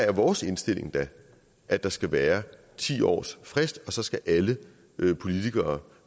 er vores indstilling da at der skal være ti års frist og så skal alle politikere